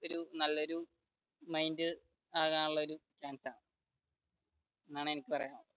നല്ലൊരു mind ആകാനുള്ള ഒരു chance ആണ് എന്നാണ് എനിക്ക് പറയാനുള്ളത്